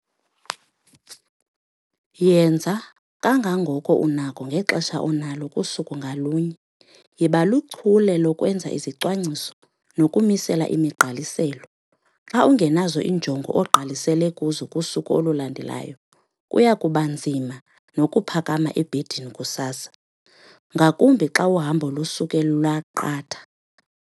Yenza kangangoko unako ngexesha onalo kusuku ngalunye. Yiba lichule lokwenza izicwangciso nokumisela imigqaliselo. Xa ungenazo iinjongo ogqalisele kuzo kusuku olulandelayo kuya kuba nzima nokuphakama ebhedini kusasa, ngakumbi xa uhambo lusuke lwaqatha.